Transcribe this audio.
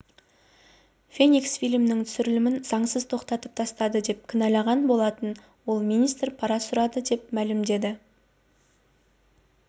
феникс фильмінің түсірілімін заңсыз тоқтатып тастады деп кінәлаған болатын ол министр пара сұрады деп мәлімдеді